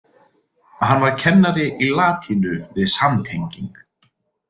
Hann var kennari í latínu við samtenging